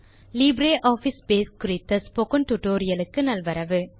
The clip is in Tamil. லிப்ரியாஃபிஸ் பேஸ் குறித்த ஸ்போக்கன் டியூட்டோரியல் க்கு நல்வரவு